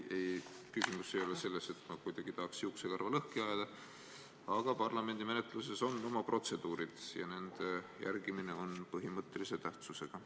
Küsimus ei ole selles, nagu ma tahaks juuksekarva lõhki ajada, aga parlamendimenetluses on omad protseduurid ja nende järgimine on põhimõttelise tähtsusega.